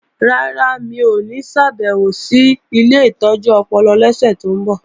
Rárá, mi ò ní ṣàbèwò sí ilé ìtọ́jú ọpọlọ lọ́sẹ̀ tó ń bọ̀